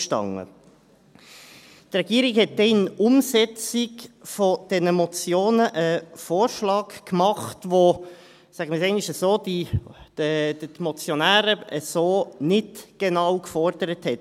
Die Regierung machte dann in Umsetzung dieser Motionen einen Vorschlag, den – sagen wir es einmal so – die Motionäre nicht genau so gefordert hatten.